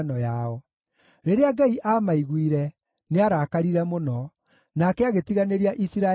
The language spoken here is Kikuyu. Rĩrĩa Ngai aamaiguire, nĩarakarire mũno; nake agĩtiganĩria Isiraeli o biũ.